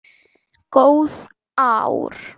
Góð ár.